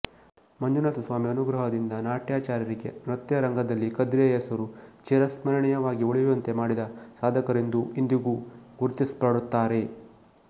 ಮಂಜುನಾಥಸ್ವಾಮಿ ಅನುಗ್ರಹದಿಂದ ನಾಟ್ಯಾಚಾರ್ಯರಿಗೆ ನೃತ್ಯ ರಂಗದಲ್ಲಿ ಕದ್ರಿಯ ಹೆಸರು ಚಿರಸ್ಮರಣೀಯವಾಗಿ ಉಳಿಯುವಂತೆ ಮಾಡಿದ ಸಾಧಕರೆಂದು ಇಂದಿಗೂ ಗುರುತಿಸಲ್ಪಡುತ್ತಾರೆ